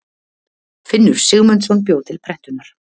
Finnur Sigmundsson bjó til prentunar.